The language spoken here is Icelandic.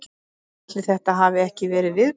Ætli þetta hafi ekki verið viðbúið.